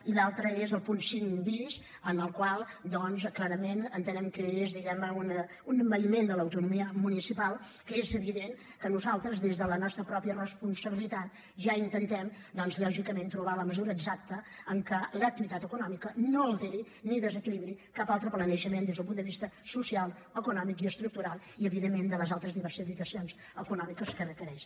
i l’altre és el punt cinc bis en el qual clarament entenem que és diguem ne un envaïment de l’autonomia municipal que és evident que nosaltres des de la nostra responsabilitat ja intentem lògicament trobar la mesura exacta en què l’activitat econòmica no alteri ni desequilibri cap altre planejament des del punt de vista social econòmic i estructural i evidentment de les altres diversificacions econòmiques que requereix